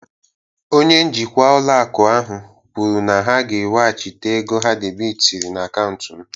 Onye njikwa ụlọ akụ ahụ kwuru na ha ga-ewechita ego ha debịtịrị na akaụntụ m